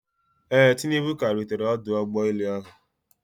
Ee, tinubu ka rutere ọdụ ụgbọ elu